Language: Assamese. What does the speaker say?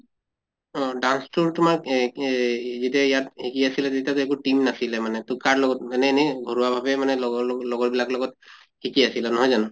অহ dance তোৰ তোমাৰ এহ এই যেতিয়া ইয়াত এ কি আছিলে তেতিয়াতো একো team নাছিলে মানে, তʼ কাৰ লগত মানে এনে ঘৰুৱা ভাবে মানে লগৰ লগৰ বিলাকৰ লগত শিকি আহিলা নহয় জানো?